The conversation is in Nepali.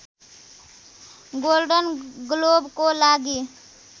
गोल्डन ग्लोबको लागि